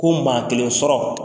Ko maa kelen sɔrɔ